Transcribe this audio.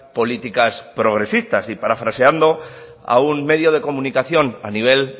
políticas progresistas y parafraseando a un medio de comunicación a nivel